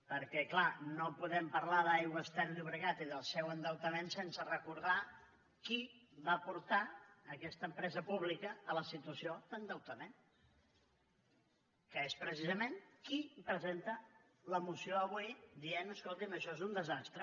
perquè clar no podem parlar d’aigües ter llobregat i del seu endeutament sense recordar qui va portar aquesta empresa pública a la situació d’endeutament que és precisament qui presenta la moció avui dient escolti’m això és un desastre